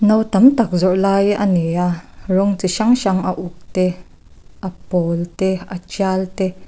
no tamtak zawrh lai ani a rawng chi hrang hrang a uk te a pawl te a tial te--